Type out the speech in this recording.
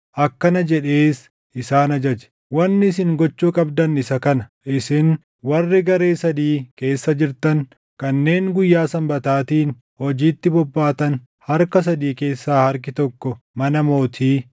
Akkana jedhees isaan ajaje; “Wanni isin gochuu qabdan isa kana: Isin warri garee sadii keessa jirtan kanneen guyyaa Sanbataatiin hojiitti bobbaatan harka sadii keessaa harki tokko mana mootii,